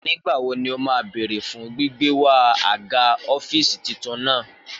Nígbàwo ní o ma béèrè fún gbígbé wáa aga ọ́fìsì titun náà